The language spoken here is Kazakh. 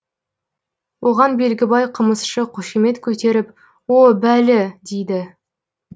оған белгібай қымызшы қошемет көтеріп о бәлі дейді